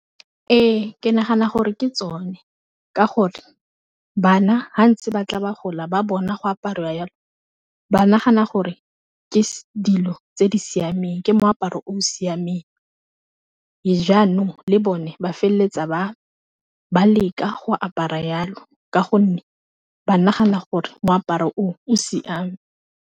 Ee ke nagana gore ke tsone ka gore bana ha ntse ba tla ba gola ba bona go apariwa yalo, ba nagana gore ke dilo tse di siameng ke moaparo o siameng, jaanong le bone ba feleletsa ba leka go apara yalo ka gonne ba nagana gore moaparo oo, o siame.